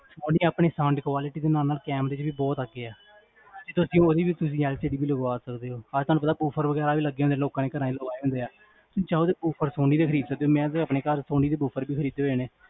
ਸੋਨੀ ਆਪਣੇ sound quality ਦੇ ਨਾਲ ਨਾਲ ਕੈਮੇਰੇ ਚ ਵੀ ਬੋਹੋਤ ਅੱਗੇ ਆ ਤੁਸੀਂ ਓਦੀ ਵੀ LCD ਵੀ ਲਗਵਾ ਸਕਦੇ ਹੋ ਤੁਹਾਨੂ ਪਤਾ ਬੀ boofers ਵਗੇਰਾ ਵੀ ਲੱਗੇ ਹੁੰਦੇ ਆ ਲੋਕਾਂ ਨੇ ਘਰਾਂ ਚ ਲਵਾਏ ਹੁੰਦੇ ਆ ਜਾ ਓਦੇ boofers ਸੋਨੀ ਦੇ ਖਰੀਦ ਸਕਦੇ ਹੋ ਮੈਂ ਆਪਣੇ ਘਰ ਸੋਨੀ ਦੇ boofers ਵੀ ਖਰੀਦੇ ਹੋਏ ਨੇ